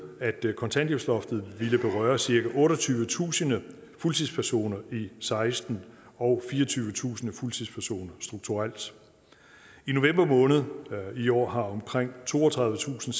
at kontanthjælpsloftet ville berøre cirka otteogtyvetusind fuldtidspersoner i seksten og fireogtyvetusind fuldtidspersoner strukturelt i november måned i år har omkring toogtredivetusinde